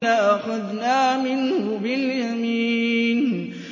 لَأَخَذْنَا مِنْهُ بِالْيَمِينِ